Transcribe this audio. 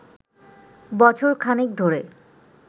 বছর খানেক ধরে